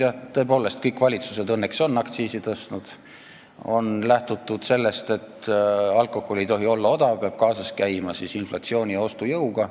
Jah, tõepoolest, kõik valitsused on õnneks aktsiisi tõstnud, on lähtutud sellest, et alkohol ei tohi olla odav, peab kaasas käima inflatsiooni ja ostujõuga.